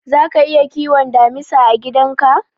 Zaka iya kiwon damisa a gidan ka?